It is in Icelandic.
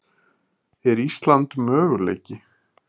Er Ísland möguleiki?